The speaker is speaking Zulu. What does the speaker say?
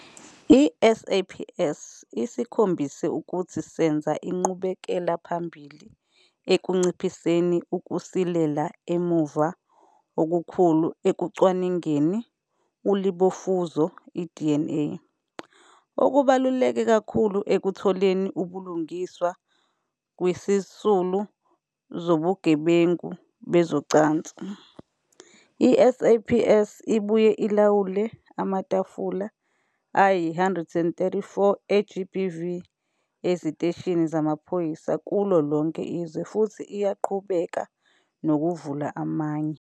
I-SAPS isikhombise ukuthi senza inqubekelaphambili ekunciphiseni ukusilela emuva okukhulu ekucwaningeni ulibofuzo i-DNA, okubaluleke kakhulu ekutholeni ubulungiswa kwizisulu zobugebengu bezocansi. I-SAPS ibuye ilawule amatafula ayi-134 e-GBV eziteshini zamaphoyisa kulo lonke izwe futhi iyaqhubeka nokuvula amanye.